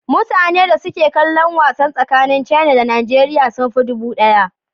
Mutane da suke kallon wasan tsakanin Caina da Nigeriya sun fi dubu ɗaya